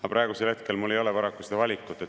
Aga praegu mul ei ole paraku seda valikut.